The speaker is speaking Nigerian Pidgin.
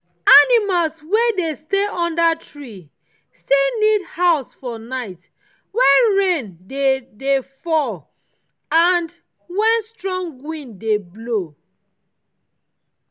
animals wey dey stay under tree still need house for night when rain dey dey fall and when strong breeze dey blow